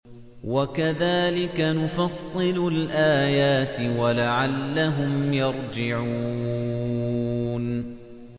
وَكَذَٰلِكَ نُفَصِّلُ الْآيَاتِ وَلَعَلَّهُمْ يَرْجِعُونَ